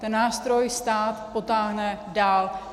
Ten nástroj stát potáhne dál.